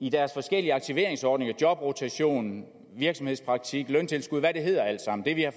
i deres forskellige aktiveringsordninger jobrotation virksomhedspraktik løntilskud hvad det hedder alt sammen